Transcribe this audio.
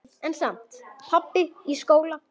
En samt- pabbi í skóla?